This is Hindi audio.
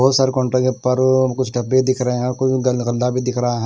बहुत सारे काउंटर हैं पर कुछ डब्बे दिख रहे हैं और कुछ ग गंदा भी दिख रहा है।